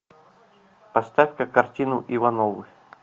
поставь ка картину ивановы